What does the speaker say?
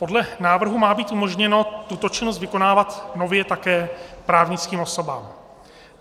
Podle návrhu má být umožněno tuto činnost vykonávat nově také právnickým osobám.